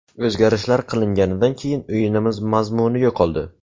O‘zgarishlar qilinganidan keyin o‘yinimiz mazmuni yo‘qoldi.